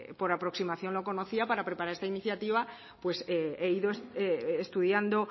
por aproximación lo conocía para preparar esta iniciativa pues he ido estudiando